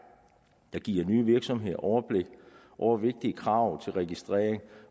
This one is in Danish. der giver nye virksomheder overblik over vigtige krav til registrering